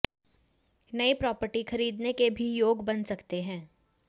नई प्रॉपर्टी खरीदने के भी योग बन सकते हैं